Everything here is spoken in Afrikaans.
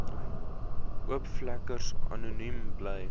oopvlekkers anoniem bly